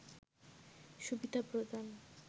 সুবিধা প্রদান